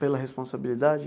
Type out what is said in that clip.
Pela responsabilidade?